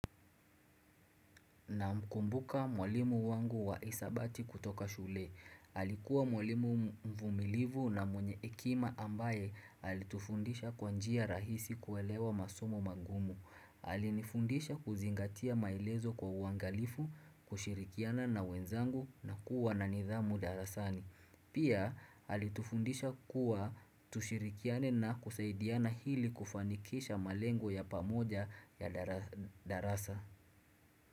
Namkumbuka mwalimu wangu wa hisabati kutoka shule. Alikuwa mwalimu mvumilivu na mwenye hekima ambaye alitufundisha kwa njia rahisi kuelewa masomo magumu. Alinifundisha kuzingatia maelezo kwa uangalifu, kushirikiana na wenzangu na kuwa na nidhamu darasani. Pia alitufundisha kuwa tushirikiane na kusaidiana hili kufanikisha malengo ya pamoja ya darasa.